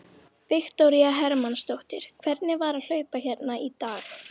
Viktoría Hermannsdóttir: Hvernig var að hlaupa hérna í dag?